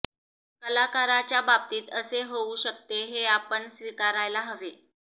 कलाकाराच्या बाबतीत असे होऊ शकते हे आपण स्वीकारायला हवे